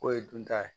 K'o ye dunta ye